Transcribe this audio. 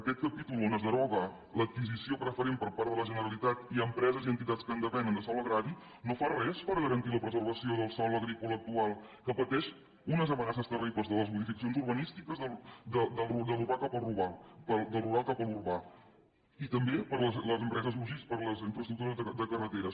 aquest capítol on es deroga l’adquisició preferent per part de la generalitat i empreses i entitats que en depenen de sòl agrari no fa res per garantir la preservació del sòl agrícola actual que pateix unes amenaces terribles de les modificacions urbanístiques del rural cap a l’urbà i també per les infraestructures de carreteres